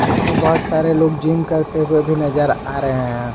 इसमें बहुत सारे लोग जिम करते हुए भी नजर आ रहे हैं।